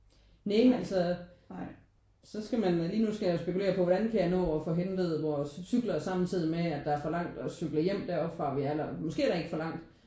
Nej altså så skal man da lige nu skal jeg jo spekulere på hvordan kan jeg nå at få hentet vores cykler samtidig med at der er for langt for at cykle deroppe fra måske er der ikke for langt